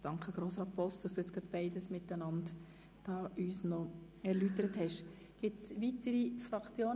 Danke, Herr Grossrat Boss, dass Sie uns gerade beides erläutert haben.